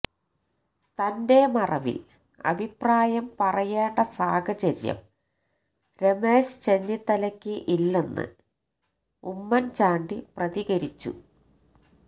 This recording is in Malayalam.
തന്റെ മറവിൽ അഭിപ്രായം പറയേണ്ട സാഹചര്യം രമേശ് ചെന്നിത്തലയ്ക്ക് ഇല്ലെന്ന് ഉമ്മൻ ചാണ്ടി പ്രതികരിച്ചു